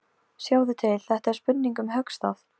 Sjáðu til, þetta er spurning um höggstað.